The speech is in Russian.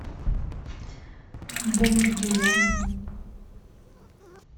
бомж димон